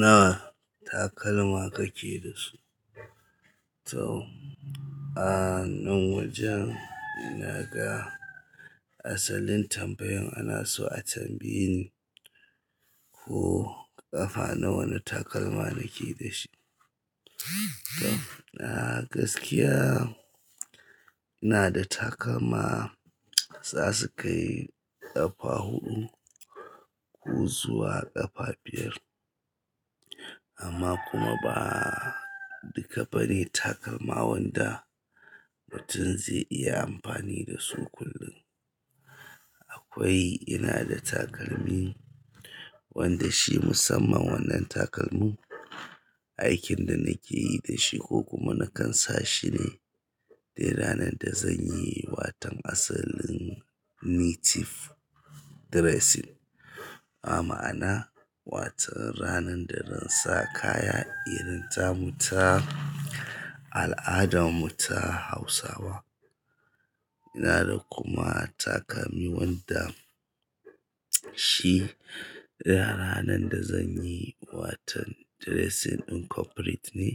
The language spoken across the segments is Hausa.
Nawa takalma kake da su? To, ah nan wajen ina ga asalin tambayin ana so a tambaye ni ko ƙafa nawa na takalma nake dashi. To, a gaskiya ina da takalma za su kai ƙafa huɗu ko zuwa ƙafa biyar amma kuma ba duka ba ne takalma wanda mutum zai iya amfani da su kullum. Akwai ina da takalmi wanda shi musamman wannan takalmin aikin da nake yi da shi ko kuma nakan sa shi ne dai ranar da zan yi watan asalin native dressing. Ma'ana wato ranan dazan sa kaya irin ta mu ta al'adan mu ta hausawa ina da kuma takalmi wanda shi dai ranar da zan yi watan dressing incorporate ne,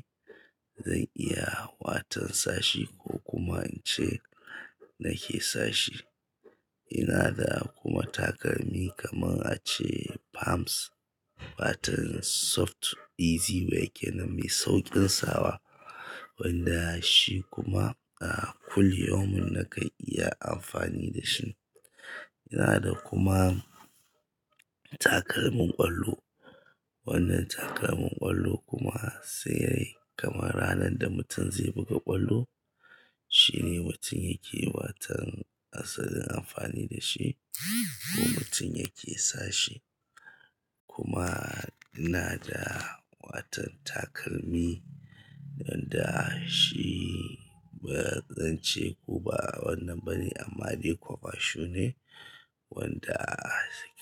zan iya watan sa shi ko kuma in ce nake sa shi. Ina da kuma takalmi kamar a ce pumps, fatan soft easy waye kenan mai sauƙin sawa wanda shi kuma a kullu yaumin nakan iya amfani da shi. Ina da kuma takalmin ƙwallo. Wannan takalmin ƙwallo kuma sai dai kamar ranar da mutum zai buga ƙwallo shine mutum yake watan asalin amfani da shi ko mutum yake sa shi. Kuma ina da watan takalmi wanda shi ba zan ce kuma wannan ba ne amma dai kwaba shu ne wanda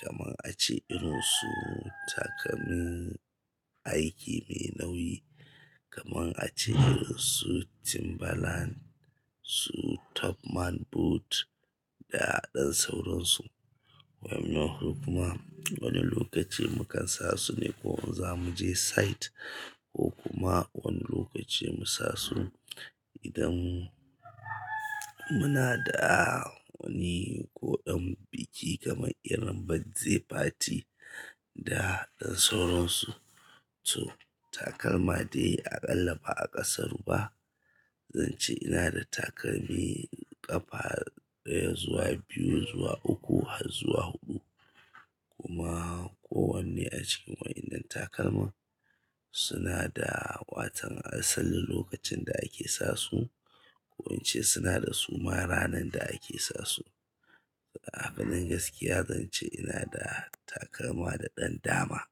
kamar a ce irin su takalmin aiki mai nauyi kamar a ce su timberland, su topman boot da ɗan sauran su. Wa'in nan su kuma wani lokaci mu kan sa su ne ko in za mu je site ko kuma wani lokacin mu sa su idan muna da wani koɗan biki kamar irin birthday party da ɗan sauran su. To takalma dai aƙalla ba a ƙasaru ba zan ce ina da takalmi ƙafa ɗaya zuwa biyu zuwa uku har zuwa huɗu kuma kowanne a cikin wa'innan takalma suna da watan asalin lokacin da ake sa su ko in ce suna da suma ranar da ake sa su. A fannin gaskiya zan ce ina da takalma da ɗan dama.